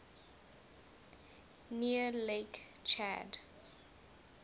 near lake chad